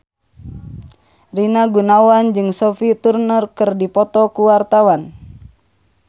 Rina Gunawan jeung Sophie Turner keur dipoto ku wartawan